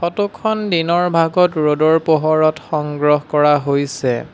Photo খন দিনৰ ভাগত ৰ'দৰ পোহৰত সংগ্ৰহ কৰা হৈছে।